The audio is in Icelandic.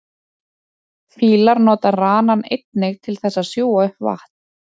fílar nota ranann einnig til þess að sjúga upp vatn